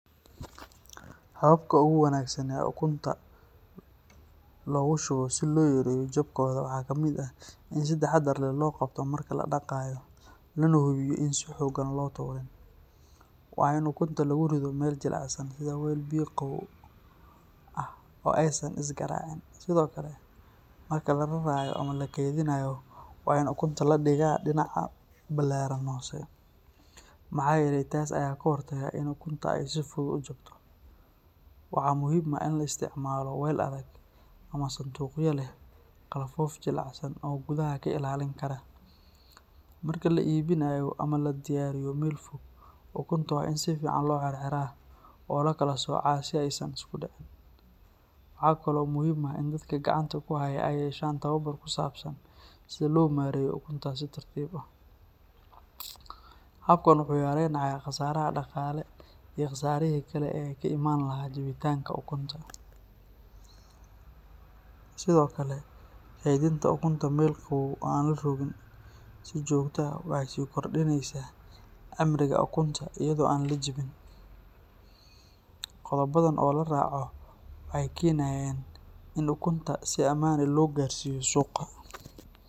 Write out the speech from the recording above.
Hababka ugu wanaagsan ee ukunta loogu shubo si loo yareeyo jabkooda waxaa ka mid ah in si taxaddar leh loo qabto marka la dhaqayo, lana hubiyo in aan si xooggan loo tuurin. Waa in ukunta lagu rido meel jilicsan sida weel biyo qabow ah oo aysan is garaacin. Sidoo kale, marka la rarayo ama la kaydinayo waa in ukunta la dhigaa dhinaca ballaadhan hoose, maxaa yeelay taas ayaa ka hortagta in ukunta ay si fudud u jabto. Waxaa muhiim ah in la isticmaalo weel adag ama sanduuqyo leh qalfoof jilicsan oo gudaha ka ilaalin kara. Marka la iibinayo ama la dirayo meel fog, ukunta waa in si fiican loo xirxiraa oo loo kala soocaa si aysan isku dhicin. Waxaa kale oo muhiim ah in dadka gacanta ku haya ay yeeshaan tababar ku saabsan sida loo maareeyo ukunta si tartiib ah. Habkan wuxuu yareynayaa khasaaraha dhaqaale iyo khasaarihii kale ee ka imaan lahaa jabitaanka ukunta. Sidoo kale, kaydinta ukunta meel qabow oo aan la rogin si joogto ah waxay sii kordhinaysaa cimriga ukunta iyada oo aan la jabin. Qodobadan oo la raaco waxay keenayaan in ukunta si ammaan ah loo gaarsiiyo suuqa.